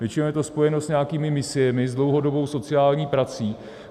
Většinou je to spojeno s nějakými misiemi, s dlouhodobou sociální prací.